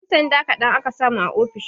Ƴan sanda kaɗan aka samu a ofishin